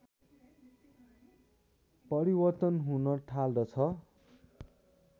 परिवर्तन हुन थाल्दछ